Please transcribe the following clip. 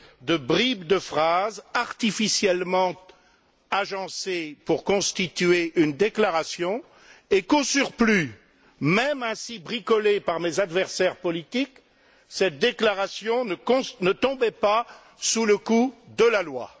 de bribes de phrases artificiellement agencées pour constituer une déclaration et qu'au surplus, même ainsi bricolée par mes adversaires politiques, cette déclaration ne tombait pas sous le coup de la loi.